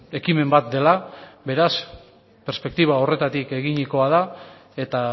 ekimen bat dela beraz perspektiba horretatik eginikoa da eta